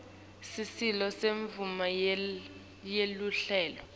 sicelo semvumo yeluhlelo